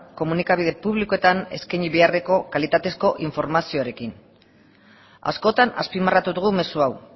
komunikabide publikoetan eskaini beharreko kalitatezko informaziorekin askotan azpimarratu dugu mezu hau